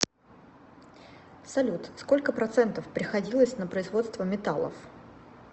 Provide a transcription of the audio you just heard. салют сколько процентов приходилось на производство металлов